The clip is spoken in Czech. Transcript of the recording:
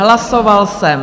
Hlasoval jsem...